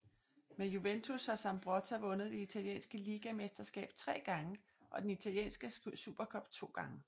Med Juventus har Zambrotta vundet det italienske ligamesterskab tre gange og den italienske supercup to gange